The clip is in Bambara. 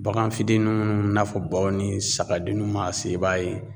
Bagan fitini minnu n'a fɔ baw ni sagadenniw maa se i b'a ye